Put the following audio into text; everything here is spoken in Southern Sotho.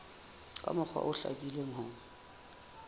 ka mokgwa o hlakileng ho